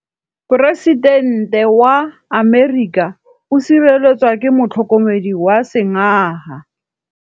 Poresitêntê wa Amerika o sireletswa ke motlhokomedi wa sengaga.